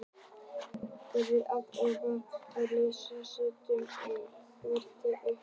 Treður pokanum ofan í beyglaða ruslafötu sem stendur ein og yfirgefin upp við vegg.